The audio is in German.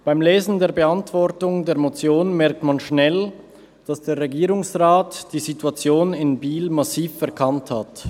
Beim Lesen der Antwort auf die Motion merkt man rasch, dass der Regierungsrat die Situation in Biel massiv verkannt hat.